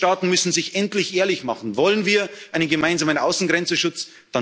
Das ist indiskutabel! Die Mitgliedstaaten müssen sich endlich ehrlich klar machen Wollen wir einen gemeinsamen